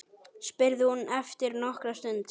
spurði hún eftir nokkra stund.